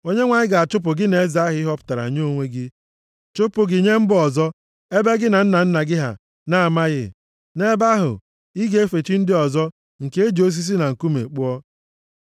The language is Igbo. Onyenwe anyị ga-achụpụ gị na eze ahụ ị họpụtara nye onwe gị, chụpụ gị nye mba ọzọ, ebe gị na nna nna gị ha, na-amaghị. Nʼebe ahụ, ị ga-efe chi ndị ọzọ nke e ji osisi na nkume kpụọ.